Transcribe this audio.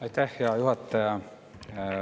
Aitäh, hea juhataja!